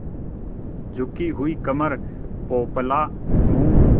झुकी हुई कमर पोपला मुँह